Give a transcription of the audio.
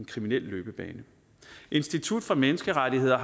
kriminel løbebane institut for menneskerettigheder